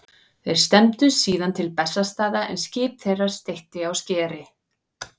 Þeir stefndu síðan til Bessastaða en skip þeirra steytti á skeri.